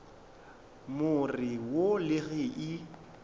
more wo le ge e